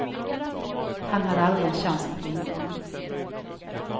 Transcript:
Han hade aldrig en chans mot vinnaren.